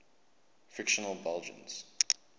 fictional belgians